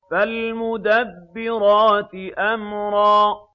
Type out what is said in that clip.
فَالْمُدَبِّرَاتِ أَمْرًا